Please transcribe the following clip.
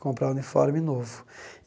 comprar uniforme novo.